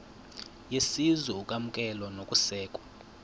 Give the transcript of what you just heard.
yesizwe ukwamkelwa nokusekwa